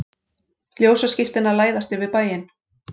Ljósaskiptin að læðast yfir bæinn.